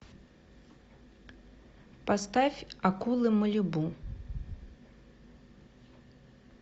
поставь акулы малибу